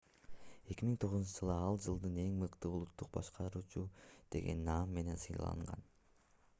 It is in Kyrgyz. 2009-жылы ал жылдын эң мыкты улуттук башкаруучусу деген наам менен сыйланган